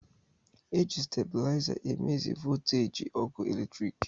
Eji stabụlaiza e mezi vooteeji ọkụ eletrik.